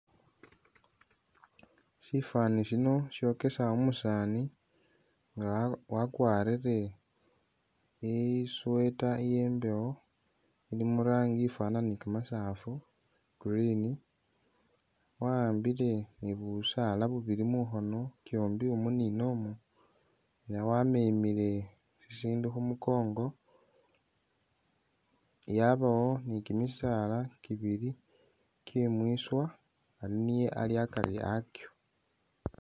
Shifani shino shokesa umusaani nga wakwarire i sweater iye mbewo ilimo irangi ifwanana ni kamasafu green waambile ni busaala bubili muhono kiombi mu ni nomwo ne wamemele ishindu khumukongo yabawo ni kimisaala kibili kyemwiswa ali niye ali akali akio